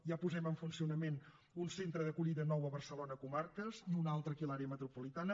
ja posem en funcionament un centre d’acollida nou a barcelona comarques i un altre aquí a l’àrea metropolitana